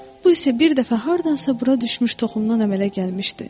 Bu isə bir dəfə hardansa bura düşmüş toxumdan əmələ gəlmişdi.